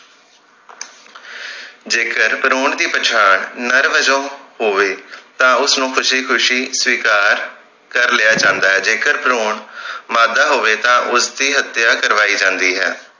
ਜੇਕਰ ਭਰੂਣ ਦੀ ਪਛਾਣ ਨਰ ਵਜੋਂ ਹੋਵੇ ਤਾਂ ਉਸ ਨੂੰ ਖੁਸ਼ੀ ਖੁਸ਼ੀ ਸਵੀਕਾਰ ਕਰ ਲਿਆ ਜਾਂਦੇ ਜੇਕਰ ਭਰੂਣ ਮਾਦਾ ਹੋਵੇ ਤਾਂ ਉਸ ਦੀ ਹਤਿਆ ਕਰਵਾਈ ਜਾਂਦੀ ਹੈ